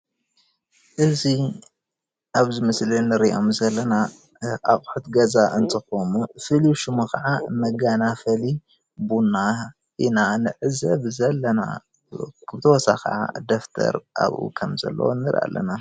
እዚ ኣብዚ ምስሊ እንሪኦም ዘለና ኣቁሑት ገዛ እንትኮኑ ፍሉይ ሽሙ ከዓ መጋናፈሊ ቡና ኢና ንዕዘብ ዘለና፡፡ ብተወሳኪ ከዓ ደፍተር ኣብኡ ከም ዘሎ ንርኢ ኣለና፡፡